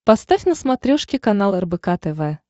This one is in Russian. поставь на смотрешке канал рбк тв